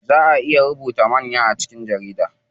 Zaa ayi rubutu manya a jikin jarida.